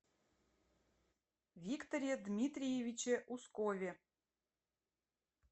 викторе дмитриевиче ускове